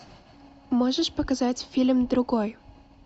можешь показать фильм другой